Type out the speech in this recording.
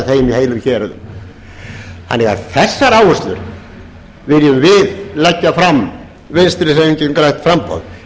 þeim í heilum héruðum þessar áherslur viljum við leggja fram vinstri hreyfingin grænt framboð